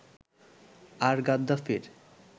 আর গাদ্দাফির